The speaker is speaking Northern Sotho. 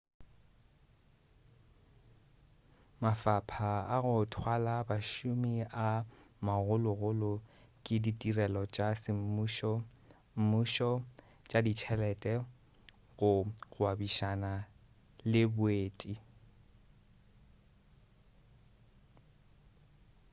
mafapha a go thwala bašomi a magologolo ke ditirelo tša semmušo mmušo tša ditšhelete go gwebišana le boeti